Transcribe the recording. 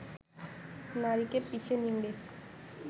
নারীকে পিষে নিংড়ে